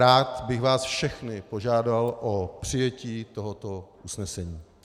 Rád bych vás všechny požádal o přijetí tohoto usnesení.